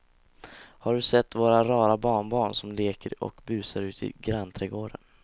Har du sett våra rara barnbarn som leker och busar ute i grannträdgården!